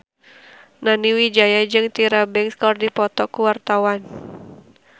Nani Wijaya jeung Tyra Banks keur dipoto ku wartawan